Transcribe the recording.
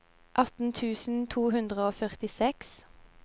atten tusen to hundre og førtiseks